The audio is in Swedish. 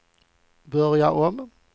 börja om